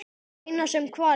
Eina sem hvarf.